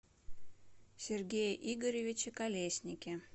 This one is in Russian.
сергее игоревиче колеснике